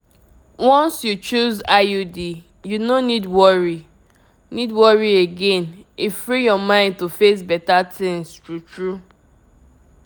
if you choose coil e dey last for years protection wey sure and no dey stress u at all u know na!